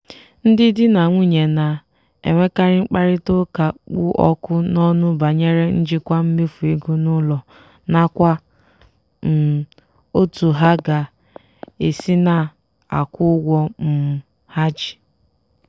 ndị di na nwunye na-enwekarị mkparịta ụka kpụ ọkụ n'ọnụ banyere njikwa mmefu ego n'ụlọ nakwa um otú ha ga-esi na-akwụ ụgwọ um ha ji.